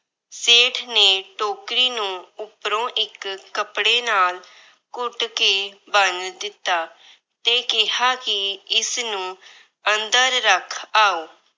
ਸੇਠ ਨੇ ਟੋਕਰੀ ਨੂੰ ਉਪਰੋਂ ਇੱਕ ਕੱਪੜੇ ਨਾਲ ਘੁੱਟ ਕੇ ਬੰਨ ਦਿੱਤਾ ਤੇ ਕਿਹਾ ਕਿ ਇਸਨੂੰ ਅੰਦਰ ਰੱਖ ਆਓ।